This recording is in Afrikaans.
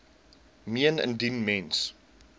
meen indien mens